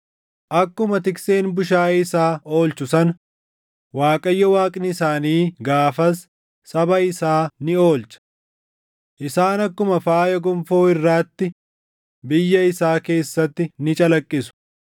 Akkuma tikseen bushaayee isaa oolchu sana, Waaqayyo Waaqni isaanii gaafas saba isaa ni oolcha. Isaan akkuma faaya gonfoo irraatti biyya isaa keessatti ni calaqqisu.